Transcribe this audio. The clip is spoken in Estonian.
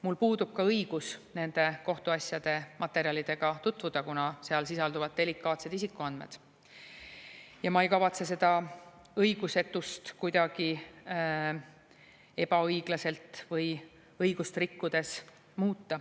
Mul puudub ka õigus nende kohtuasjade materjalidega tutvuda, kuna seal sisalduvad delikaatsed isikuandmed, ja ma ei kavatse seda õigusetust kuidagi ebaõiglaselt või õigust rikkudes muuta.